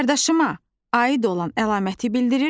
Qardaşıma aid olan əlaməti bildirir.